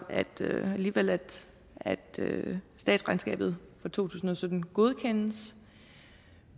alligevel at at statsregnskabet for to tusind og sytten godkendes